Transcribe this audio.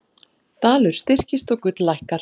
Dalur styrkist og gull lækkar